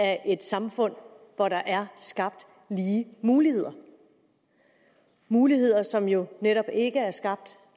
af et samfund hvor der er skabt lige muligheder muligheder som jo netop ikke er skabt